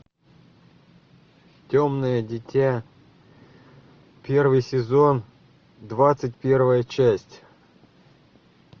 темное дитя первый сезон двадцать первая часть